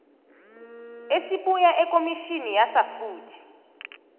esibuya ekomitini yasafuthi